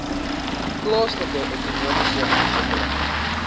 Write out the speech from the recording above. plaaslike ekonomiese ontwikkeling